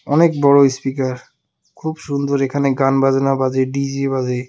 অনেক বড় ইস্পিকার খুব সুন্দর এখানে গান বাজনা বাজে ডি_জে বাজে .